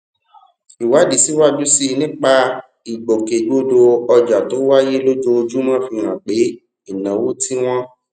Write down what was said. ìwádìí síwájú sí i nípa ìgbòkègbodò ọjà tó wáyé lójoojúmọ fi hàn pé ìnáwó tí wọn